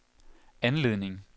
anledning